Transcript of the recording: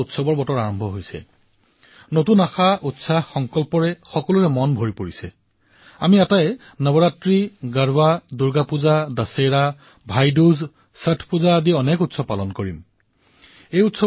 এইবাৰ উৎসৱত এই সজাগতাৰ সৈতে আৰু সংকল্পৰ সৈতে চাকিৰ তলৰ পৰা অন্ধকাৰ আঁতৰোৱাৰ কাম আমি কৰিব নোৱাৰোনে বহু দুখীয়া পৰিয়ালৰ মুখলৈ অহা হাঁহিয়ে আপোনাৰ উৎসৱৰ আনন্দ দুগুণ কৰি তুলিব আপোনাৰ চেহেৰা আপোনাৰ চাকি আৰু উজ্বলময় কৰি তুলিব আপোনাৰ দিপাৱলী অধিক প্ৰকাশময় হৈ উঠিব